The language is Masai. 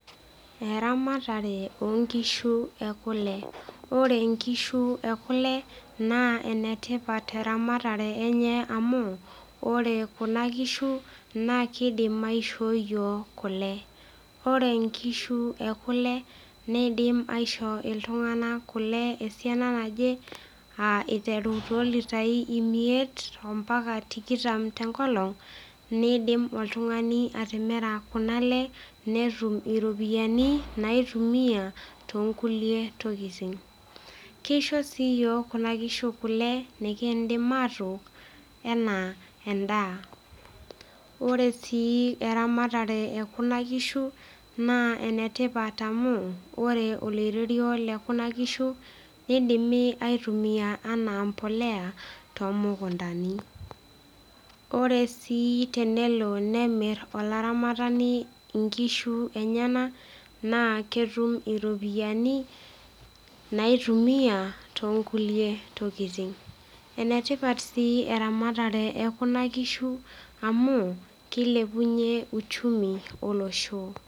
Eramatar onkishu e kule. Oore inkishu e kule naa enatipat ermatare eenye amuu, oore kuuna kishu naa keidim aishoo iyiok kule. Oore inkishu ee kule neidim aishoo iltung'anak kule esiana naje, aah eiteru toolitai imiet, ompaka tikitam tenkolong'niidim oltung'ani atimira kuuna aale netum iropiyiani, naitumia tonkulie tokitin. Keisho sii iyiok kuna kiishu kule nekiidim atook enaa en'daa. Oore sii eramatare e kuna kishu naa enatipat amuu oore oloiterio loo kuna kishu, keidimi aitumia enaa embolea, too mukundani. Ore sii tenelo nemir olaramatani inkishu eneyenak naa ketum iropiyiani, naitumia tonkulie tokiting. Enetipat sii eramatare ekuna kishu amuu, keilepunyie uchumi olosho.